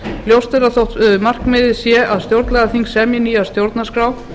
ljóst er að þótt markmiðið sé að stjórnlagaþing semji nýja stjórnarskrá